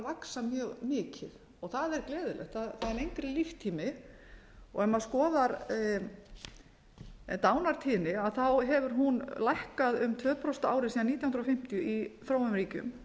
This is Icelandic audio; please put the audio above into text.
vaxa mjög mikið það er gleðilegt það er lengri líftími ef maður skoðar dánartíðni hefur hún lækkað um tvö prósent á ári síðan nítján hundruð fimmtíu í þróunarríkjum